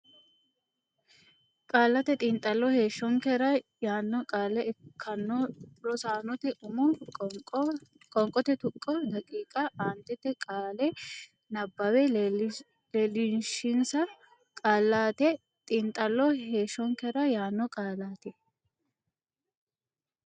Qaallate Xiinxallo heeshshonkera yaanno qaale ikkanno Rosaanote umo qoonqote tuqqo daqiiqa aantete qaale nabbabbe leellishinsa Qaallate Xiinxallo heeshshonkera yaanno Qaallate.